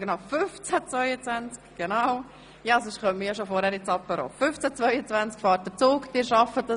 All jenen, die ich nicht mehr sehen werde, wünsche ich schon jetzt ein schönes Wochenende.